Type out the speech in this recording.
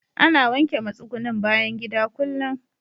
Ana wanke matsugunnin bayan gida kullum.